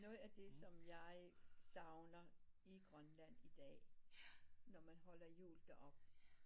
Noget af det som jeg savner i Grønland i dag når man holder jul deroppe